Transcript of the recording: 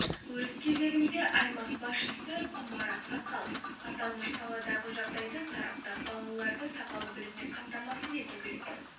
өз кезегінде аймақ басшысы құмар ақсақалов аталмыш саладағы жағдайды сараптап балаларды сапалы біліммен қамтамасыз ету керек